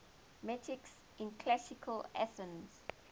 metics in classical athens